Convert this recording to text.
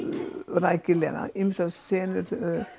rækilega þessar senur